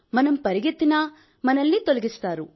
మనం పరుగెత్తినా మనల్ని తొలగిస్తారు